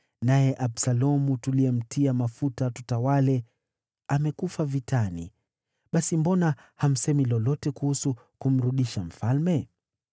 naye Absalomu, tuliyemtia mafuta atutawale, amekufa vitani. Basi mbona hamsemi lolote kuhusu kumrudisha mfalme?”